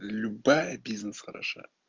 любая бизнес хороша